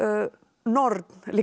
norn líka